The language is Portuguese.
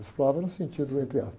Explorava no sentido entre aspas